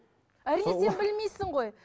әрине сен білмейсің ғой